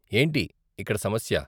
ఏంటి ఇక్కడ సమస్య?